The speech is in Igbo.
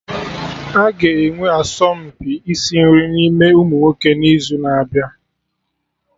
Aga enwe asọmpi isi nri n'ime ụmụnwoke n'izu na-abịa